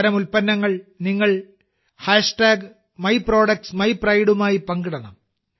അത്തരം ഉൽപ്പന്നങ്ങൾ നിങ്ങൾ myproductsmypride മായി പങ്കിടണം